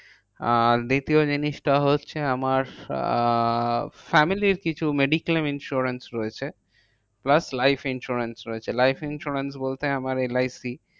আর দ্বিতীয় জিনিসটা হচ্ছে, আমার আহ family র কিছু mediclaim insurance রয়েছে। plus life insurance রয়েছে। life insurance বলতে আমার এল আই সি